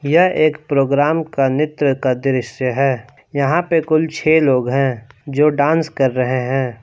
यह एक प्रोग्राम का नृत्य का दृश्य है यहां पर कुल छह लोग हैं जो डांस कर रहे हैं।